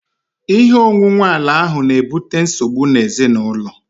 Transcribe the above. Ihe onwunwe ala ahu na-ebute nsogbu ezinaụlọ